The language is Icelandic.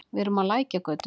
Við erum á Lækjargötu.